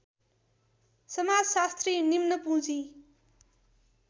समाजशास्त्री निम्न पुँजी